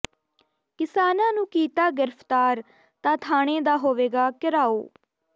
ਕਿਸਾਨਾਂ ਨੂੰ ਕੀਤਾ ਗਿ੍ਫਤਾਰ ਤਾਂ ਥਾਣੇ ਦਾ ਹੋਵੇਗਾ ਿਘਰਾਓ